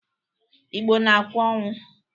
Igbo na-akwa ọnwụ.